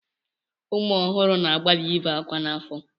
Ụmụ ọhụrụ na-agbalị ị be ákwá n'afọ.